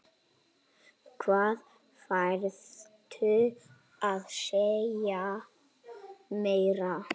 Hvað þarftu að segja meira?